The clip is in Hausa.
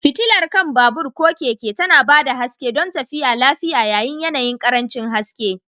Fitilar kan babur/keke tana ba da haske don tafiya lafiya yayin yanayin ƙarancin haske.